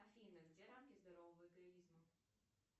афина где рамки здорового эгоизма